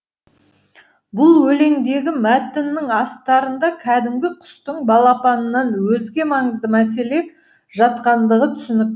бұл өлеңдегі мәтіннің астарында кәдімгі құстың балапанынан өзге маңызды мәселе жатқандығы түсінік